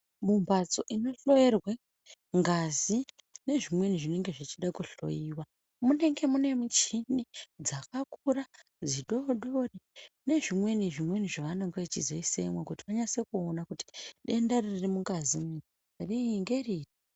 Mumbatso inohloyerwe ngazi nezvimweni zvinenge zvechida kuhloyiwa munenge muine muchini dzakakura, dzidodori ,nezvimweni zvimweni zvavanonge vachizoisemo kuti munyaso kuona kuti denda ririmungazi umu ngeripi.